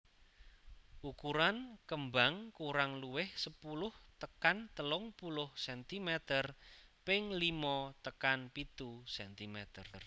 Ukuran kembang kurang luwih sepuluh tekan telung puluh centimeter ping limo tekan pitu centimeter